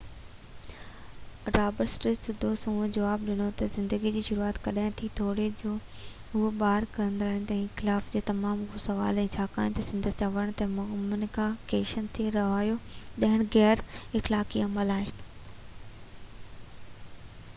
Roberts سڌو سنئون جواب ڏنو ته زندگي جي شروعات ڪڏهن ٿي، توڙي جو اهو ٻار ڪيرائڻ واري اخلاقيات لاءِ تمام اهم سوال آهي، ڇاڪاڻ ته سندس چوڻ هيو ته ممڪنه ڪيسن تي رايو ڏيڻ غيراخلاقي عمل آهي